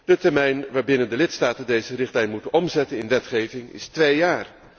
De termijn waarbinnen de lidstaten deze richtlijn moeten omzetten in wetgeving is twee jaar.